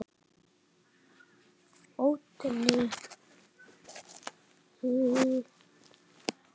Oddný lætur sér hvergi bregða.